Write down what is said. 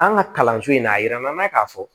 An ka kalanso in na a yira an na k'a fɔ